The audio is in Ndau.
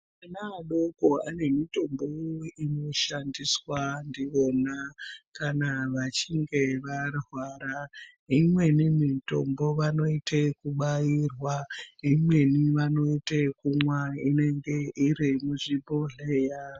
Ana adoko ane mitombowo inoshandiswa ndiyona kana vachinge varwara. Imweni mitombo vanoite yekubairwa, imweni vanoite yekumwa inenge iri muzvibhodhleya.